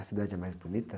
A cidade é mais bonita?